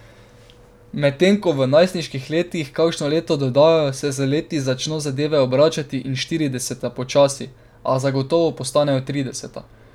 Medtem ko v najstniških letih kakšno leto dodajo, se z leti začno zadeve obračati in štirideseta počasi, a zagotovo postanejo trideseta.